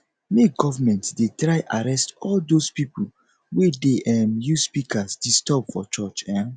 make govament dey try arrest all dose pipol wey dey um use speakers disturb for church um